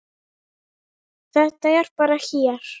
Þetta er bara hér.